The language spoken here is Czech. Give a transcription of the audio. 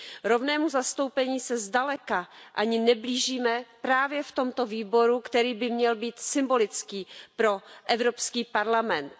Rovnému zastoupení se zdaleka ani neblížíme právě v tomto výboru, který by měl být symbolický pro Evropský parlament.